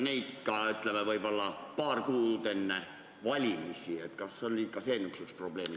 Kui see on, ütleme, paar kuud enne valimisi, siis see on probleem.